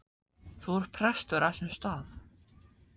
Þú ert prestur á þessum stað.